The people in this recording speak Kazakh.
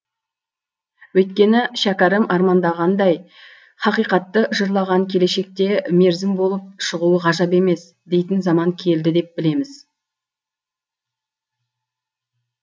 өйткені шәкәрім армандағандай хақиқатты жырлаған келешекте мерзім болып шығуы ғажап емес дейтін заман келді деп білеміз